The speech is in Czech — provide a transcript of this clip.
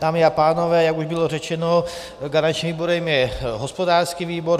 Dámy a pánové, jak už bylo řečeno, garančním výborem je hospodářský výbor.